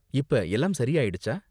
இப்ப எல்லாம் சரி ஆயிடுச்சா?